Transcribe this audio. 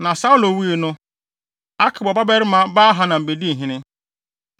Na Saulo wui no, Akbor babarima Baal-Hanan bedii hene.